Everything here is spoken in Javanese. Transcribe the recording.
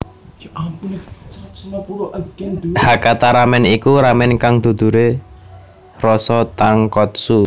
Hakata ramen iku ramen kang dudure rasa tonkotsu